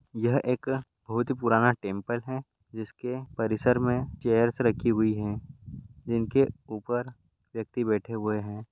यह एक बहुत ही पुराना टेंपल है जिसके परिशर में चेयर रखी हुई है जिनके उपर व्यक्ति बैठे हुए है।